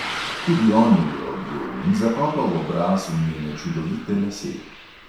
Tudi on jo je objel in zakopal obraz v njene čudovite lase.